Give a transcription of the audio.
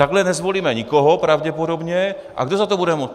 Takhle nezvolíme nikoho, pravděpodobně, a kdo za to bude moct?